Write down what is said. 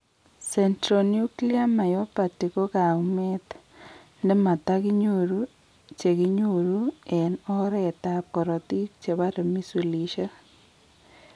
Centronuclear myopathy ko kaumeet ne mataginyoru cheginyoru en oret ab korotik chebare misulishek